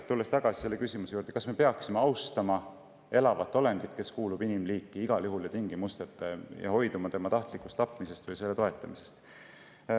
Tulen tagasi küsimuse juurde, kas me peaksime austama elavat olendit, kes kuulub igal juhul ja tingimusteta inimliiki, ja hoiduma tema tahtlikust tapmisest või selle toetamisest.